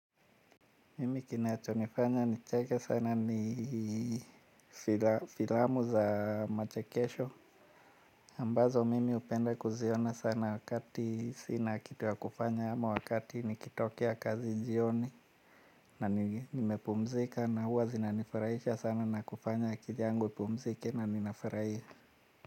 Mimi kinachonifanya nicheke sana ni filamu za machekesho ambazo mimi hupenda kuziona sana wakati sina kitu ya kufanya ama wakati nikitokea kazi jioni. Na nimepumzika na huwa zinanifurahisha sana na kufanya akili yangu ipumzike na ninafurahia.